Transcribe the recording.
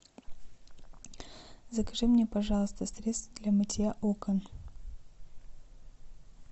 закажи мне пожалуйста средство для мытья окон